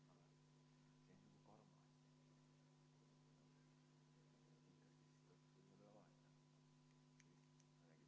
Ma teen neljaminutilise vaheaja.